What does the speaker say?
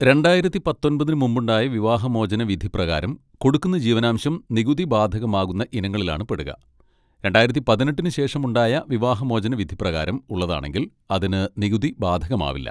രണ്ടായിരത്തി പത്തൊൻപതിന് മുമ്പുണ്ടായ വിവാഹമോചന വിധി പ്രകാരം കൊടുക്കുന്ന ജീവനാംശം നികുതി ബാധകമാവുന്ന ഇനങ്ങളിലാണ് പെടുക, രണ്ടായിരത്തി പതിനെട്ടിന് ശേഷമുണ്ടായ വിവാഹമോചന വിധി പ്രകാരം ഉള്ളതാണെങ്കിൽ അതിന് നികുതി ബാധകമാവില്ല.